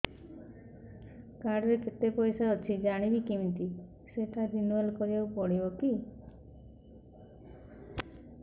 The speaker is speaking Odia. କାର୍ଡ ରେ କେତେ ପଇସା ଅଛି ଜାଣିବି କିମିତି ସେଟା ରିନୁଆଲ କରିବାକୁ ପଡ଼ିବ କି